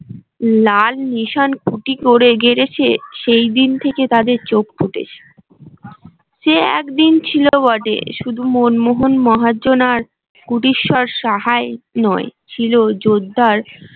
লাল নিষান খুটি করে গেড়েছে সেই দিন থেকে তাদের চোখ ফুটেছে সে একদিন ছিল বটে শুধু মনমোহন মহাজন আর কুটিশ্বর সাহাই নয় ছিল জোরদার